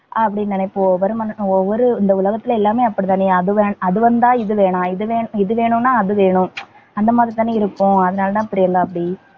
அப்படி நினைப்போ ஒவ்வொரு மனுஷனும் ஒவ்வொரு இந்த உலகத்துல எல்லாமே அப்படித்தானே, அது வேணும் அது வந்தா இது வேணாம், இது வேணும் இது வேணும்னா, அது வேணும். அந்த மாதிரி தானே இருக்கும். அதனாலதான் அப்படி எல்லாம் அப்படி